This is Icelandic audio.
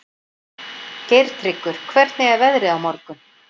Geirtryggur, hvernig er veðrið á morgun?